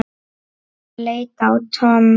Hann leit á Tom.